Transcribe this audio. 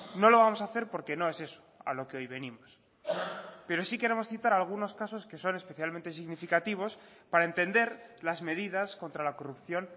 no lo vamos a hacer porque no es eso a lo que hoy venimos pero sí queremos citar algunos casos que son especialmente significativos para entender las medidas contra la corrupción